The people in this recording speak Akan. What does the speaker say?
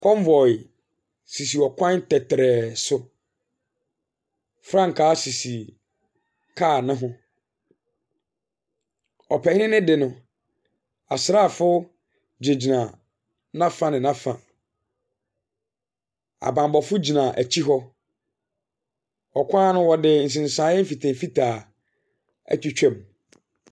Convoy sisi ɔkwan tɛtrɛɛ so. Frankaa sisi car no ho. Ɔpanin deɛ no, asraafoɔ gyina n'afa ne n'afa. Abammɔfo gyina akyire hɔ. Ɔkwan no, wɔde nsensaseɛ mfitaa mfitaa atwitwa mu.